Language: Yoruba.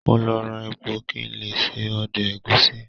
Mo lọ ra epo kí n lè se ọdẹ̀ ẹ̀gúsí